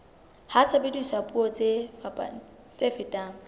ha sebediswa puo tse fetang